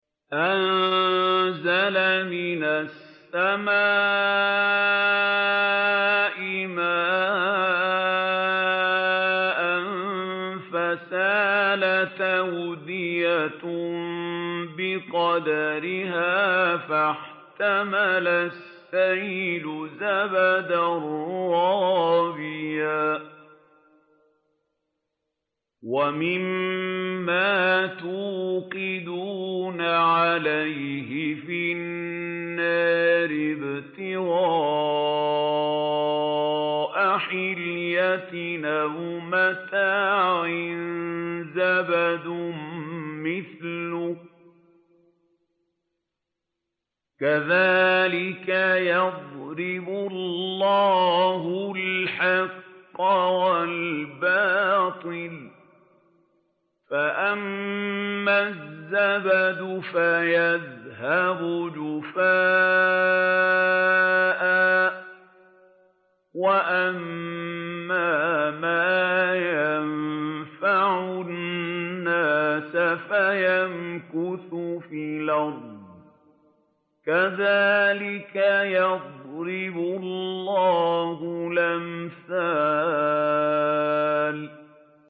أَنزَلَ مِنَ السَّمَاءِ مَاءً فَسَالَتْ أَوْدِيَةٌ بِقَدَرِهَا فَاحْتَمَلَ السَّيْلُ زَبَدًا رَّابِيًا ۚ وَمِمَّا يُوقِدُونَ عَلَيْهِ فِي النَّارِ ابْتِغَاءَ حِلْيَةٍ أَوْ مَتَاعٍ زَبَدٌ مِّثْلُهُ ۚ كَذَٰلِكَ يَضْرِبُ اللَّهُ الْحَقَّ وَالْبَاطِلَ ۚ فَأَمَّا الزَّبَدُ فَيَذْهَبُ جُفَاءً ۖ وَأَمَّا مَا يَنفَعُ النَّاسَ فَيَمْكُثُ فِي الْأَرْضِ ۚ كَذَٰلِكَ يَضْرِبُ اللَّهُ الْأَمْثَالَ